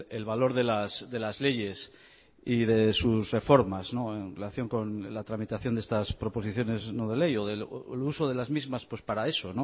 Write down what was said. el valor de las leyes y de sus reformas en relación con la tramitación de estas proposiciones no de ley o el uso de las mismas para eso